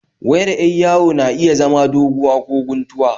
wayar 'yar yawo na iya zama doguwa ko kuntuwa